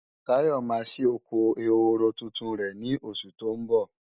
Táyọ̀ máa ṣí oko ehoro tuntun rẹ̀ ní oṣù tó ń bọ̀